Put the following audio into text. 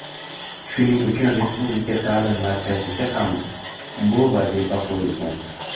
Shuning uchun Respublika ta’lim markaziga ham bu vazifa qo‘yilgan.